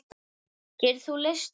Getur þú leyst orðin?